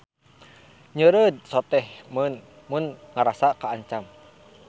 Nyeureud soteh mun ngarasa kaancam.